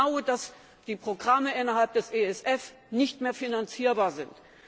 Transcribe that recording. Sie wissen genau, dass die Programme innerhalb des ESF nicht mehr finanzierbar sind!